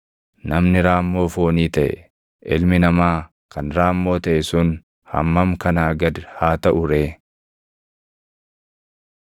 namni raammoo foonii taʼe, ilmi namaa kan raammoo taʼe sun hammam kanaa gad haa taʼu ree!”